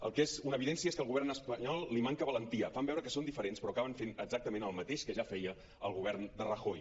el que és una evidència és que al govern espanyol li manca valentia fan veure que són diferents però acaben fent exactament el mateix que ja feia el govern de ra·joy